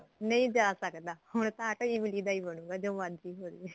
ਨਹੀਂ ਜਾ ਸਕਦਾ ਹੁਣ ਤਾਂ ਆਟੋ ਇਮਲੀ ਦਾ ਹੀ ਬਣੁਗਾ ਜੋ ਮਰਜੀ ਹੋਜੇ